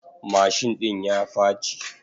Mashin ɗin ya faci.